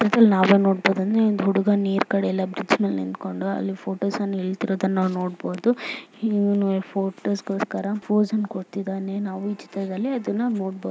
ಇಲ್ಲಿ ನಾವು ಏನು ನೋಡ್ತಾ ಇದ್ದೀರಿ ಅಂದ್ರೆ ಇಲ್ಲಿ ಹುಡುಗ ನೀರು ಕಡೆ ಎಲ್ಲಾ ಬ್ರಿಡ್ಜ್ ಮೇಲೆ ನಿಂತುಕೊಂಡು ಅಲ್ಲಿ ಫೋಟೋಸ್ ಹೇಳ್ತೀರೋದು ಅಂತ ನೋಡಬಹುದು